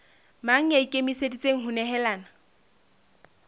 mang ya ikemiseditseng ho nehelana